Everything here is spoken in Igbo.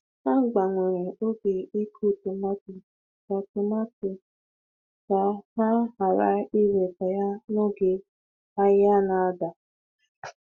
Ha gbanwere oge ịkụ tomato ka tomato ka ha ghara iweta ya n'oge ahịa na-ada.